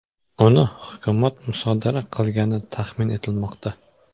Uni hukumat musodara qilgani taxmin etilmoqda.